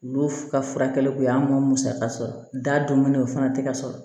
Olu ka furakɛli kun ye an ŋ'o musaka sɔrɔ da don ne o fana te ka sɔrɔ